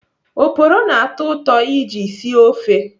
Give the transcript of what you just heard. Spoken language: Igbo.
Oporo na-atọ ụtọ iji sie ofe.